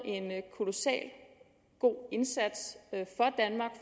kolossal god indsats